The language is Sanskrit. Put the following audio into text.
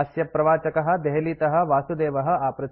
अस्यप्रवाचकः देहलीतः वासुदेवः आपृच्छति